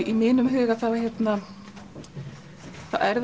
í mínum huga þá er